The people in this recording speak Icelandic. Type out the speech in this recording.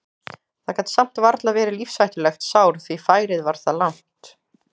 Það gat samt varla verið lífshættulegt sár því færið var það langt.